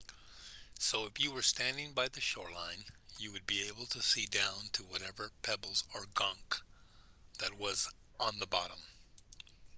so if you were standing by the shoreline you would be able to see down to whatever pebbles or gunk that was on the bottom